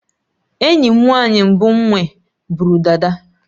Enyi m nwanyị mbụ nwe bụrụ dada